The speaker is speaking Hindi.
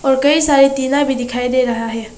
कई सारे टीना भी दिखाई दे रहा है।